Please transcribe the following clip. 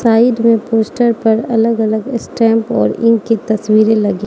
side में poster पर अलग अलग स्टांप और इंक तस्वीरे लगी --